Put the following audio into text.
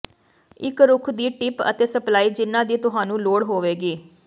ਇੱਕ ਰੁੱਖ ਦੀ ਟਿਪ ਅਤੇ ਸਪਲਾਈ ਜਿਨ੍ਹਾਂ ਦੀ ਤੁਹਾਨੂੰ ਲੋੜ ਹੋਵੇਗੀ